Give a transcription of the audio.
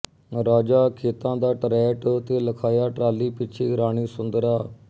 ਰਾਜਾ ਖੇਤਾਂ ਦਾ ਟਰੈਟ ਤੇ ਲਖਾਇਆ ਟਰਾਲੀ ਪਿੱਛੇ ਰਾਣੀ ਸੁੰਦਰਾਂ